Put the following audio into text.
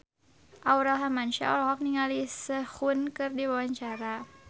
Aurel Hermansyah olohok ningali Sehun keur diwawancara